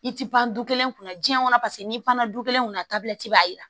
I ti ban du kelen kunna diɲɛ kɔnɔ paseke n'i panna du kelen kunna b'a yira